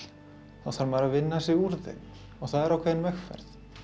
þá þarf maður að vinna sig úr þeim og það er ákveðin vegferð